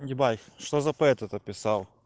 ебать что за поэт это описал